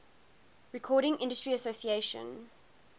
recording industry association